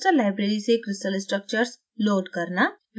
crystal library से crystal structures load करना